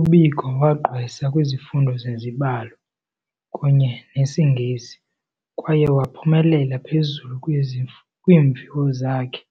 UBiko wagqwesa kwizifundo zezibalo kunye nesiNgesi kwaye waphumelela phezulu kwiimviwo zakhe.